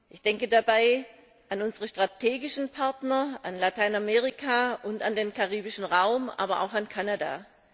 Ich denke dabei an unsere strategischen Partner, an Lateinamerika und an den Karibischen Raum, aber auch an Kanada.